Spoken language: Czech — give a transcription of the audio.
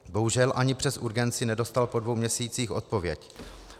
Bohužel ani přes urgenci nedostal po dvou měsících odpověď.